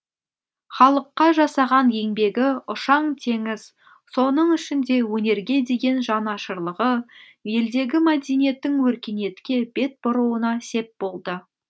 халыққа жасаған еңбегі ұшаң теңіз соның ішінде өнерге деген жанашырлығы елдегі мәдениеттің өркениетке бет бұруына сеп болды